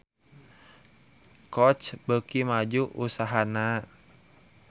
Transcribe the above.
Coach beuki maju usahana